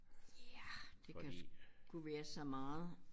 Ja det kan sgu være så meget